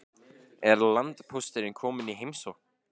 Er landpósturinn kominn í heimsókn?